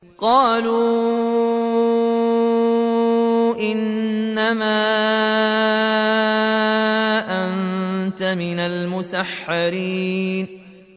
قَالُوا إِنَّمَا أَنتَ مِنَ الْمُسَحَّرِينَ